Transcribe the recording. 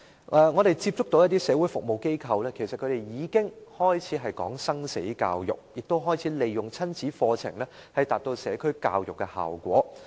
我們曾接觸一些社會服務機構，他們已開始談生死教育，亦開始利用親子課程，以達致社區教育的效果。